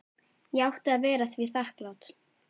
Ég átti að vera því þakklát.